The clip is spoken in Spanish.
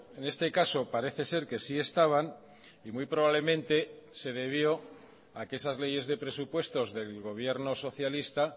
en este caso parece ser que sí estaban y muy probablemente se debió a que esas leyes de presupuestos del gobierno socialista